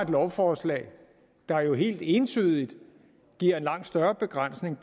lovforslag der jo helt entydigt giver en langt større begrænsning